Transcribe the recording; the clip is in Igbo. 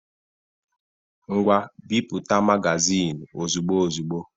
Ngwa bipụta magazin ozigbo ozigbo!